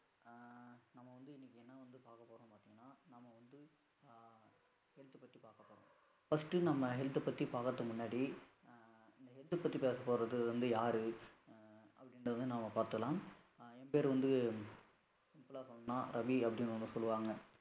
First நம்ம health பத்தி பாகுறதுக்கு முன்னாடி இந்த health பத்தி பேசபோறது யாரு? அப்டினறதும் நாம பாதுரலாம், என் பேரு வந்து simple ஆ சொல்லணும்னா ரவி அப்படினு சொல்லுவாங்க.